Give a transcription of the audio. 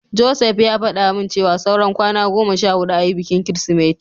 Joseph ya faɗa min cewa saura kwana goma sha huɗu ayi bikin Kirsimeti.